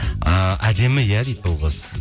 ііі әдемі иә дейді бұл қыз